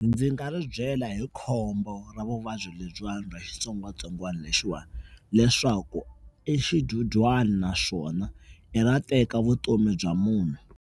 Ndzi nga ri byela hi khombo ra vuvabyi lebyiwani bya xitsongwatsongwana lexiwani leswaku i xidyudyana naswona i ra teka vutomi bya munhu.